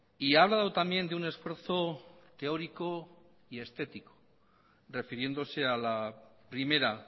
y ha hablado también de un esfuerzo teórico y estético refiriéndose a la primera